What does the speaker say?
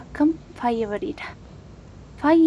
Akkam faaya bareeda ! Faayi